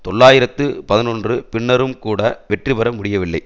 தொள்ளாயிரத்து பதினொன்று பின்னரும் கூட வெற்றிபெற முடியவில்லை